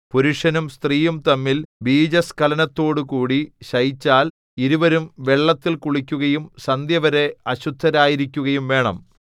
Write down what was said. പുരുഷനും സ്ത്രീയും തമ്മിൽ ബീജസ്ഖലനത്തോടുകൂടി ശയിച്ചാൽ ഇരുവരും വെള്ളത്തിൽ കുളിക്കുകയും സന്ധ്യവരെ അശുദ്ധരായിരിക്കുകയും വേണം